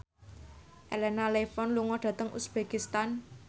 Elena Levon lunga dhateng uzbekistan